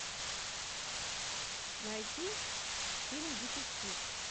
найти фильм детектив